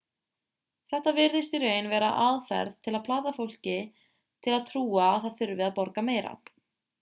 þetta virðist í raun vera aðferð til að plata fólk til að trúa að það þurfi að borga meira